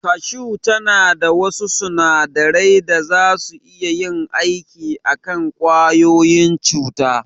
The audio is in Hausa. Kashu tana da wasu sunadarai da zasu iya yin aiki a kan ƙwayoyin cuta.